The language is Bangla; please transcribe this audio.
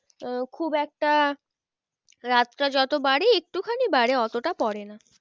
আহ খুব একটা রাতটা যত বাড়ে একটু খানি বাড়ে অতটা পড়ে না